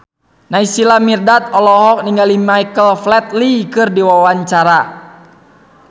Naysila Mirdad olohok ningali Michael Flatley keur diwawancara